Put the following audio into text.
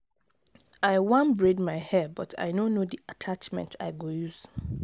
i wan braid my hair but i no know the attachment i go use.